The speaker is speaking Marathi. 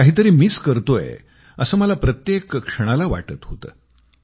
मी काही तरी मिस करतोय असं मला प्रत्येक क्षणाला वाटत होतं